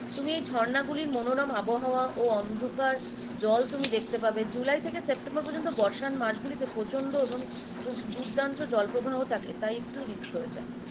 তুমি রি ঝর্ণা গুলির মনোরম আবহাওয়া ও অন্ধকার জল তুমি দেখতে পাবে, জুলাই থেকে সেপ্টেম্বর পর্যন্ত বর্ষার মাস গুলিতে প্রচন্ড এবং দু~ দুর্দান্ত জল প্রবাহ থাকে তাই একটু risk হয়ে যায়